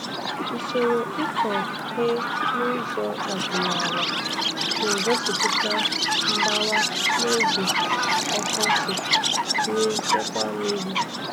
Usoro ịkọ he n'ụzọ ọdịnala na-egosịpụta mgbawa n'oge ọkọchị nye nchekwa mmiri.